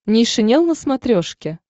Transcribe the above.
нейшенел на смотрешке